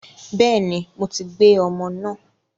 Bẹ́ẹ̀ni, mo ti gbé ọmọ náà